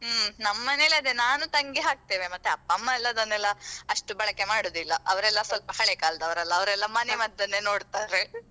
ಹ್ಮ್ ನಮ್ಮ ಮನೆಯಲ್ಲಿ ಅದೇ ನಾನು ತಂಗಿ ಹಾಕ್ತೇವೆ ಮತ್ತೆ ಅಪ್ಪ ಅಮ್ಮ ಎಲ್ಲ ಎಲ್ಲ ಅದನ್ನೆಲ್ಲಾ ಅಷ್ಟು ಬಳಕೆ ಮಾಡುದಿಲ್ಲಾ ಅವ್ರೆಲ್ಲಾ ಸ್ವಲ್ಪ ಹಳೇ ಕಾಲದವ್ರಲ್ಲಾ ಅವ್ರೆಲ್ಲಾ ಮನೆ ಮದ್ದನ್ನೇ ನೋಡ್ತಾರೆ.